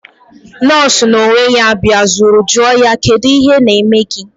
Nọọsụ na onwe ya biazuru joo ya: Kedu ihe na eme gi?